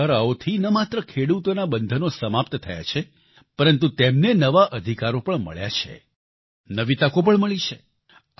આ સુધારાઓથી ન માત્ર ખેડૂતોના બંધનો સમાપ્ત થયા છે પરંતુ તેમને નવા અધિકારો પણ મળ્યા છે નવી તકો પણ મળી છે